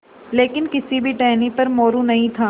लेकिन किसी भी टहनी पर मोरू नहीं था